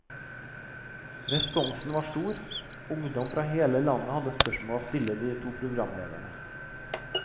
Responsen var stor, ungdom fra hele landet hadde spørsmål å stille de to programlederne.